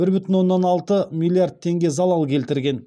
бір бүтін оннан алты миллиард теңге залал келтірген